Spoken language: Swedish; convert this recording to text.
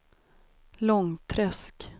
Långträsk